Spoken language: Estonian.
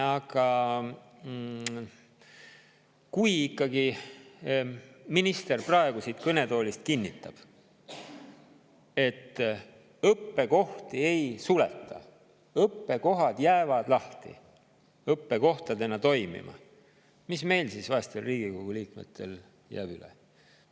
Aga kui ikkagi minister praegu siit kõnetoolist kinnitab, et õppekohti ei suleta, õppekohad jäävad lahti ja õppekohtadena toimima, mis siis meil, vaestel Riigikogu liikmetel, üle jääb?